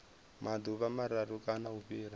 maḓuvha mararu kana u fhira